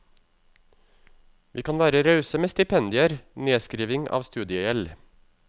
Vi kan være rause med stipendier, nedskriving av studiegjeld.